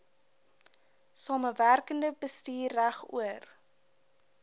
samewerkende bestuur regoor